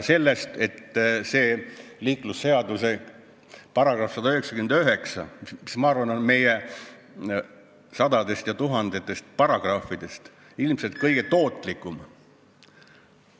See liiklusseaduse § 199, ma arvan, on meie sadadest ja tuhandetest paragrahvidest ilmselt kõige tootlikum ...